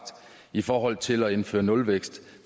i forhold til at indføre nulvækst